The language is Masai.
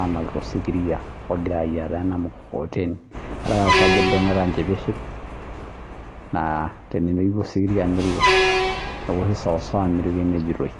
anap too sikitia ogira ayaiataa emukokoteni adolita sii Ajo ebung'ita enjipiship naa tenemeyieu osikiria nelo neoshi sawasawa miruko enepuoitoi